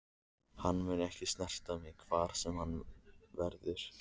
Hann mun ekki snerta mig hver sem hann verður.